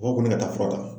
O kɔni ka taa fura ta